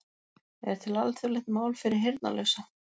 Er til alþjóðlegt mál fyrir heyrnarlausa?